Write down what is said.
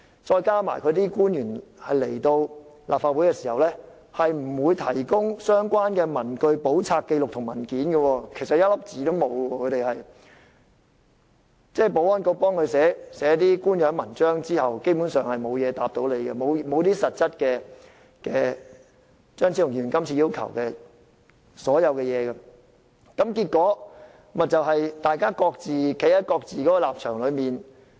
再加上官員前來立法會，並不會提供相關的文據、簿冊、紀錄或文件，只有由保安局代寫的一些官樣文章，但基本上都沒有回應議員的問題，亦沒有實質回應張超雄議員這次提出的各項要求，結果議員各自站在不同的立場表述意見。